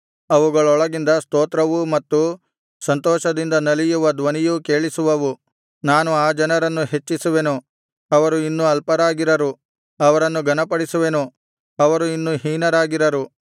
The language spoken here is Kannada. ಅವುಗಳೊಳಗಿಂದ ಸ್ತೋತ್ರವೂ ಮತ್ತು ಸಂತೋಷದಿಂದ ನಲಿಯುವ ಧ್ವನಿಯೂ ಕೇಳಿಸುವವು ನಾನು ಆ ಜನರನ್ನು ಹೆಚ್ಚಿಸುವೆನು ಅವರು ಇನ್ನು ಅಲ್ಪರಾಗಿರರು ಅವರನ್ನು ಘನಪಡಿಸುವೆನು ಅವರು ಇನ್ನು ಹೀನರಾಗಿರರು